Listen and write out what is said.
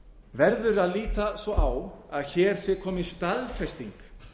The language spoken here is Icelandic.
verður að líta svo á að hér sé komin staðfesting